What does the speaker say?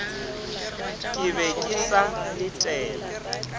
ke be ke sa letela